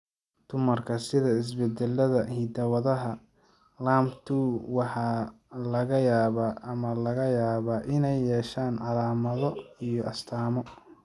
Dumarka sidda isbeddellada hidda-wadaha LAMP2 waxaa laga yaabaa ama laga yaabaa inay yeeshaan calaamado iyo astaamo.